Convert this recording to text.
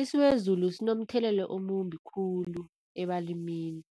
Isiwezulu sinomthelelo omumbi khulu ebalimini.